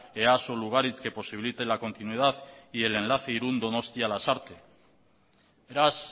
easo lugaritz que posibilite la continuidad y el enlace irun donostia lasarte beraz